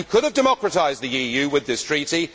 You could have democratised the EU with this Treaty.